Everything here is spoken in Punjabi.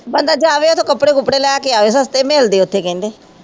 ਬੰਦਾ ਜਾਵੇ ਉੱਥੋਂ ਕੱਪੜੇ ਕੁਪਰੇ ਲੈ ਕੇ ਆਵੇ ਸਸਤੇ ਮਿਲਦੇ ਉੱਥੇ ਕਹਿੰਦੇ